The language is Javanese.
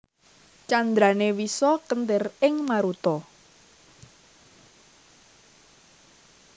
Candrané Wisa kéntir ing maruta